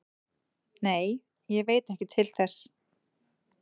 Nei, ég veit ekki til þess